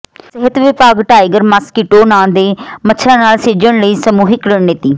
ਸਿਹਤ ਵਿਭਾਗ tiger mosquito ਨਾਂ ਦੇ ਮੱਛਰਾਂ ਨਾਲ ਸਿੱਝਣ ਲਈ ਸਮੂਹਕ ਰਣਨੀਤੀ